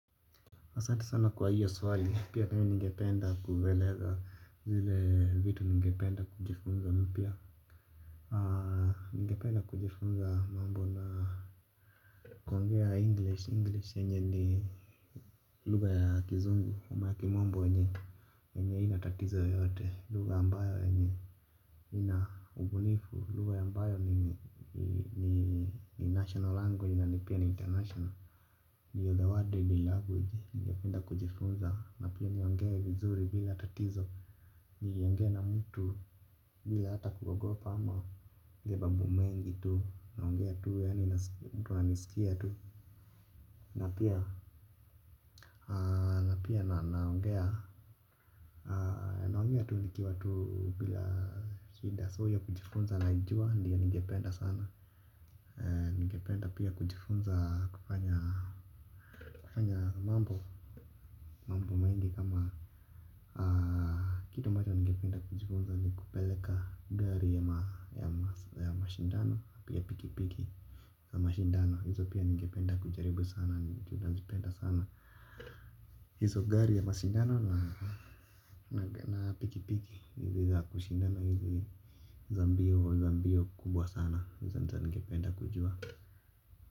Asanti sana kwa hiyo swali, pia mi ningependa kueleza zile vitu ningependa kujifunza mpya. Ningependa kujifunza mambo na kuongea English, English yenye ni lugha ya kizungu, ama ya kimombo yenye, yenye haina tatizo yoyote, lugha ambayo yenye, ina ubunifu, lugha ambayo ni national language na ni pia ni international. Ndio the word in the language, ningependa kujifunza, napia niongee vizuri bila tatizo, niongee na mtu bila hata kuogopa ama ni mambo mengi tu, naongea tu, yaani mtu amesikia tu. Na pia, na pia naongea, naongea tu nikiwa tu bila shida so hiyo kujifunza naijua, ndio ningependa sana. Ningependa pia kujifunza kufanya mambo. Mambo mahindi kama kitu ambacho ningependa kujifunza ni kupeleka gari ya mashindano, pia pikipiki ya mashindano. Hizo pia ningependa kujaribu sana. Ningependa sana hizo gari ya mashindano na pikipiki hizi za kushindana na za mbio kubwa sana hizo ningependa kujua.